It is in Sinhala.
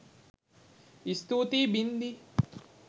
ස්තුතියි බින්දි